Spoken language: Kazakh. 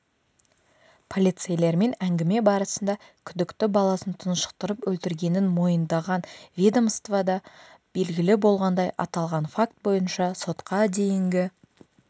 полицейлермен әңгіме барысында күдікті баласын тұншықтырып өлтіргенін мойындаған ведомствода белгілі болғандай аталған факт бойынша сотқа дейінгі